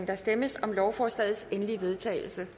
der stemmes om lovforslagets endelige vedtagelse